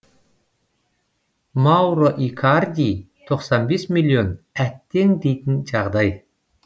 мауро икарди тоқсан бес миллион әттең дейтін жағдай